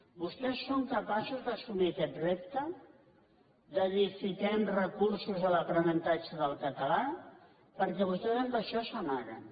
vostès són capaços d’assumir aquest repte de dir fiquem recursos a l’aprenentatge del català perquè vostès en això s’ama·guen